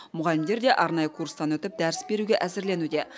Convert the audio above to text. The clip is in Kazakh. мұғалімдер де арнайы курстан өтіп дәріс беруге әзірленуде